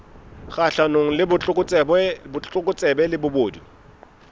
kgahlanong le botlokotsebe le bobodu